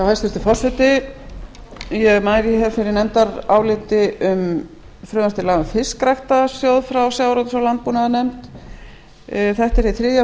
hæstvirtur forseti ég mæli fyrir nefndaráliti um frumvarp til laga um fiskræktarsjóð frá sjávarútvegs og landbúnaðarnefnd þetta er hið þriðja